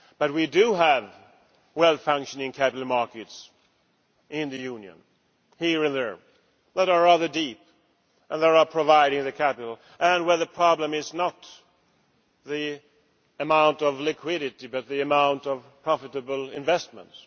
We do have well functioning capital markets in the Union, here and there, which are rather deep and which are providing the capital. The problem is not the amount of liquidity but the amount of profitable investments.